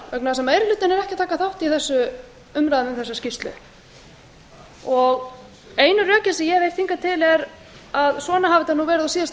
er ekki að taka þátt í umræðum um þessa skýrslu einu rökin sem ég hef heyrt hingað til er að svona hafi þetta nú verið á síðasta